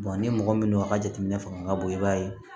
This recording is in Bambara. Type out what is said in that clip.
ni mɔgɔ min don a ka jateminɛ fanga ka bon i b'a ye